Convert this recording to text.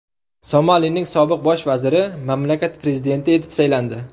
Somalining sobiq bosh vaziri mamlakat prezidenti etib saylandi.